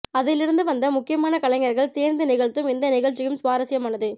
அதிலிருந்து வந்த முக்கியமான கலைஞர்கள் சேர்ந்து நிகழ்த்தும் இந்த நிகழ்ச்சியும் சுவாரசியமானது